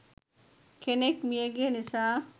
කෙනෙක් මියගිය නිසා.